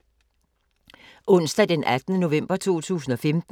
Onsdag d. 18. november 2015